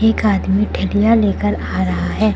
एक आदमी ठेला लेकर आ रहा है।